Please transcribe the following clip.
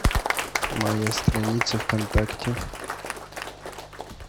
моя страница вконтакте